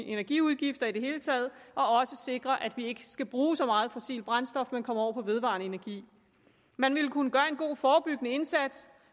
energiudgifter i det hele taget og også sikrer at vi ikke skal bruge så meget fossilt brændstof men kommer over på vedvarende energi man ville kunne gøre en god forebyggende indsats